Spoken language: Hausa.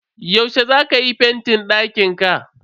Yaushe za ka yi fentin dakinka?